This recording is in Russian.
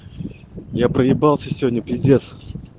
я проебался сегодня пиздец